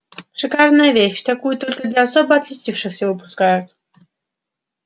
шикарная вещь такую только для особо отличившихся выпускают